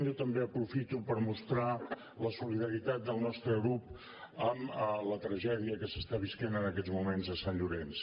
jo també aprofito per mostrar la solidaritat del nostre grup amb la tragèdia que s’està vivint en aquests moments a sant llorenç